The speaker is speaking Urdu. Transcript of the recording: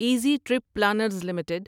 easy trip planners limited